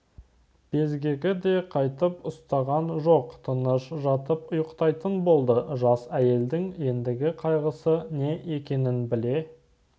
безгегі де қайтып ұстаған жоқ тыныш жатып ұйықтайтын болды жас әйелдің ендігі қайғысы не екенін біле